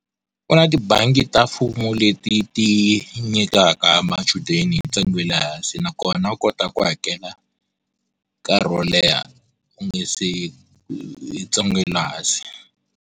U na tibangi ta mfumo leti ti nyikaka machudeni hi ntsengo wa le hansi nakona u kota ku hakela nkarhi wo leha u nge se hi ntsengo wa le hansi.